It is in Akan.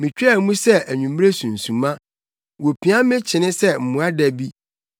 Mitwaa mu sɛ anwummere sunsuma; wopia me kyene sɛ mmoadabi.